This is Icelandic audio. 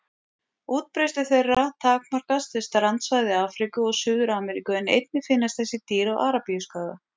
Útbreiðslu þeirra takmarkast við strandsvæði Afríku og Suður-Ameríku en einnig finnast þessi dýr á Arabíuskaga.